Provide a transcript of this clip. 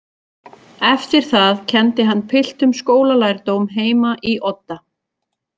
Eftir það kenndi hann piltum skólalærdóm heima í Odda.